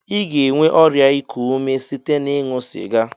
I ga-enwe ọrịa ịkụ ume site na-ịṅụ sịga.